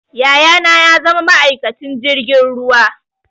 Yaya na ya zama ma'aikacin jirgin ruwa